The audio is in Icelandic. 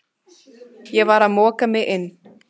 Ég var að moka mig inn